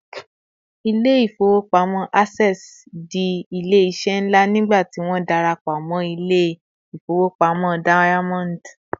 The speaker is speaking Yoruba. ilé ifowopamọ access di ilé iṣẹ nla nigba tí won darapo mo ilé ifowopamọ diamond